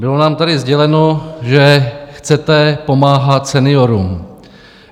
Bylo nám tady sděleno, že chcete pomáhat seniorům.